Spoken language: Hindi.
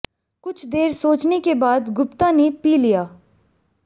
कुछ देर सोचने के बाद गुप्ता ने पी लिया